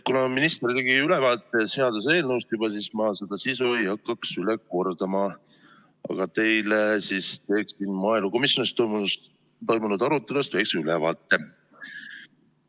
Kuna minister juba andis seaduseelnõust ülevaate, siis ma ei hakka sisu üle kordama, vaid teen maaelukomisjonis toimunud arutelust väikse ülevaate.